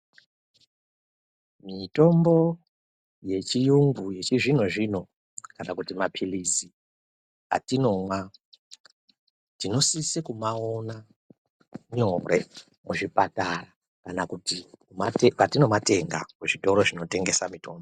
Mitombo yechiyungu yechizvino-zvino, kana kuti maphilizi atinomwa, tinosise kumaona nyore kuzvipatara, kana kuti matinomatenga kuzvitoro zvinotengesa mitombo.